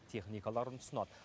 техникаларын ұсынады